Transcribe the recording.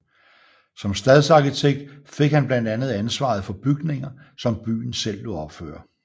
Som stadsarkitekt fik han blandt andet ansvaret for bygninger som byen selv lod opføre